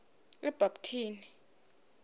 ebhabtini